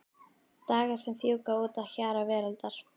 Dagar sem fjúka út að hjara veraldar.